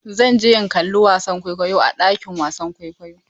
Zan je in kalla wasan kwaikwayo a ɗakin wasan kwaikwayo.